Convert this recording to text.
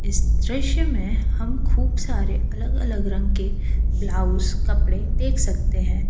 इस दृश्य में हम खूब सारे अलग अलग रंग के ब्लाउज कपड़े देख सकते है।